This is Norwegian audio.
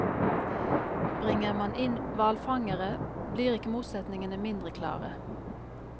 Bringer man inn hvalfangere, blir ikke motsetningene mindre klare.